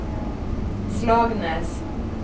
Slagnäs